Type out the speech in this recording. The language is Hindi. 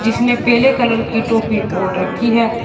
जिसने पेले कलर की टोपी ओढ़ रखी है।